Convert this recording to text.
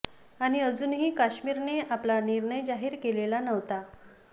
आणि अजूनही काश्मीर ने आपला निर्णय जाहीर केलेला नव्हता